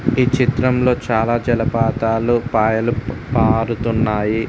ఈ చిత్రంలో చాలా జలపాతాలు పాయలు పారుతున్నాయి.